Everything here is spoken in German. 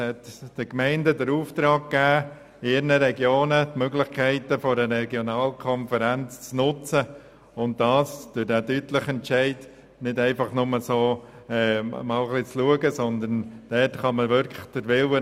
Die Gemeinden haben die Aufgabe, in ihren Regionen die Möglichkeit einer Regionalkonferenz zu nutzen und zwar nicht einfach, um nur einmal zu schauen, sondern um es auch umzusetzen.